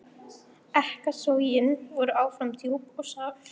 Ekkasogin voru áfram djúp og sár.